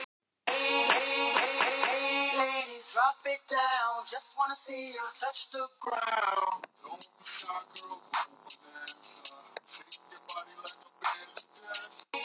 Einar Sturlaugsson, síðar prestur á Patreksfirði.